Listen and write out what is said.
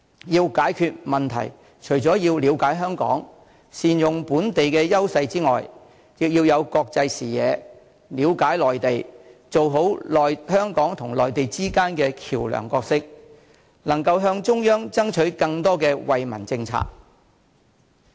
要解決問題，除要了解香港、善用本地的優勢之外，亦要有國際視野、了解內地、做好香港與內地之間的橋樑角色，以及能夠向中央爭取更多惠民政策。